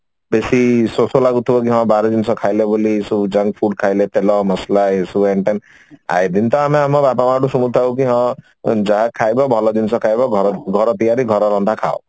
ବେଶୀ ଶୋଷ ଲାଗୁଥିବ ହଁ କି ବାହାର ଜିନିଷ ବୋଲି ଏସବୁ junk food ଖାଇଲେ ବୋଲି ତେଲ ମସଲା ଏଇସବୁ ଏଣେ ତେଣେ ଏଇ ଦିନ ତ ଆମେ ବାପା ମାଙ୍କୁ ଶୁଣୁ ଥାଉକି ହଁ ଯାହା ଖାଇବ ବ୍ଭାଳ ଜିନିଷ ଖାଇବ ଘର ତିଆରି ରନ୍ଧା ଜିନିଷ ଖାଅ